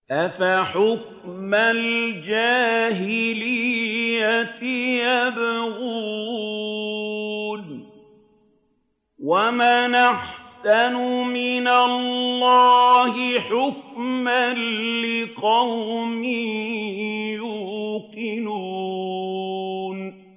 أَفَحُكْمَ الْجَاهِلِيَّةِ يَبْغُونَ ۚ وَمَنْ أَحْسَنُ مِنَ اللَّهِ حُكْمًا لِّقَوْمٍ يُوقِنُونَ